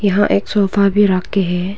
यहां एक सोफा भी रखे हैं।